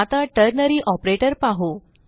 आता ternary operator पाहू